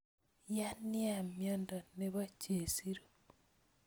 Ya nia miondo nebo chesiru